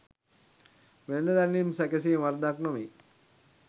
වෙළෙඳ දැන්වීම් සැකසීම වරදක් නොවේ.